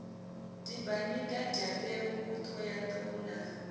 dimbanyika dyambeu t hohoyandou na